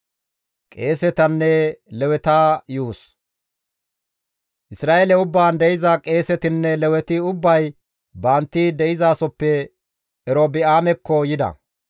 Isra7eele ubbaan de7iza qeesetinne Leweti ubbay bantti de7izasoppe Erobi7aamekko yida.